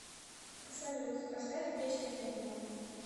салют поставь песню энимал